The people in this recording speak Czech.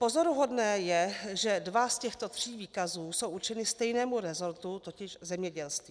Pozoruhodné je, že dva z těchto tří výkazů jsou určeny stejnému rezortu, totiž zemědělství.